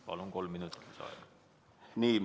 Palun, kolm minutit lisaaega!